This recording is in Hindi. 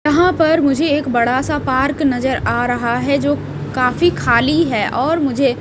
यहाँ पर मुझे एक बड़ा सा पार्क नजर आ रहा है जो काफी खाली है और मुझे --